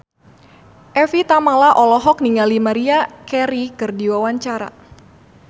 Evie Tamala olohok ningali Maria Carey keur diwawancara